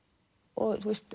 og